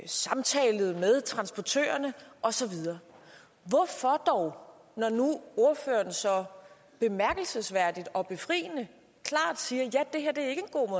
samtalet med transportørerne og så videre når ordføreren nu så bemærkelsesværdigt og befriende klart siger